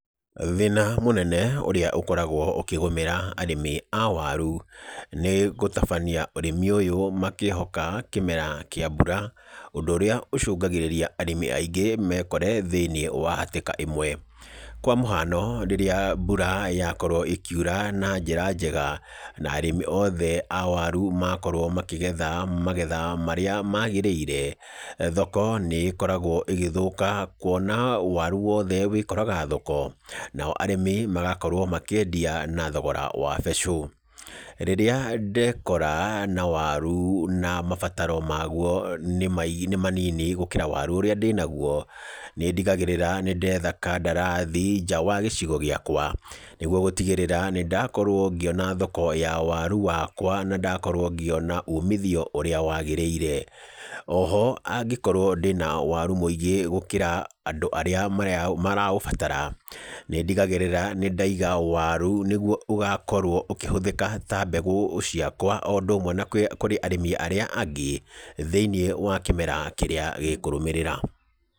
Thĩna mũnene ũrĩa ũkoragwo ũkĩgũmĩra arĩmi a waru, nĩ gũtabania ũrĩmi ũyũ makĩĩhoka kĩmera kĩa mbura, ũndũ úrĩa ũcũngagĩrĩria arĩmi aingĩ mekore thĩinĩ wa hatĩka ĩmwe . Kwa mũhano rĩrĩa mbura yakorwo ĩkiura na njĩra njega, na arĩmi othe a waru makorwo makĩgetha magetha marĩa magĩrĩire, thoko nĩ ĩkoragwo ĩgĩthũka kuona waru wothe wĩkoraga thoko, nao arĩmi magakorwo makĩendia na thogora wa becũ. Rĩrĩa ndekora na waru na mabataro maguo nĩ manini gũkĩra waru ũrĩa ndĩnaguo, nĩndigagĩrĩraga nĩ ndetha kandarathi nja wa gĩcigo gĩakwa nĩguo gũtigĩrĩra nĩ ndakorwo ngĩona thoko ya waru wakwa na ndakorwo ngĩona umithio ũrĩa wagĩrĩire. O ho angĩkorwo ndĩna waru mũingĩ gũkĩra andũ arĩa maraũbatara, nĩ ndigagĩrĩra nĩndaiga waru wakwa nĩguo ũgakorwo ũkĩhũthĩka ta mbegũ ciakwa o ũndũ ũmwe na kũrĩ arĩmi arĩa angĩ thĩinĩ wa kĩmera kĩrĩa gĩkũrũmĩrĩra.